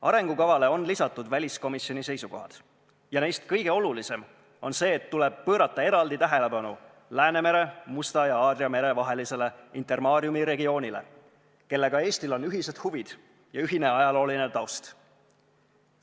Arengukavale on lisatud väliskomisjoni seisukohad ja neist kõige olulisem on see, et tuleb pöörata eraldi tähelepanu Läänemere, Musta ja Aadria mere vahelisele Intermariumi regioonile, kellega Eestil on ühised huvid ja ühine ajalooline taust.